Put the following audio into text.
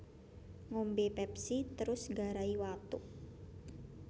Ngombe Pepsi terus nggarai watuk